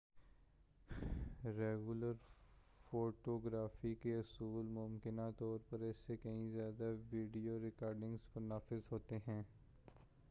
regular photography کے اصول ممکنہ طور پر اس سے کہیں زیادہ ویڈیو ریکارڈنگ پر نافذ ہوتے ہیں